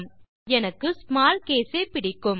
இருந்தாலும் எனக்கு small case ஏ பிடிக்கும்